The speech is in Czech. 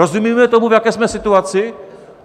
Rozumíme tomu, v jaké jsme situaci?